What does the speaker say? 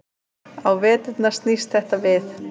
Á veturna snýst þetta við.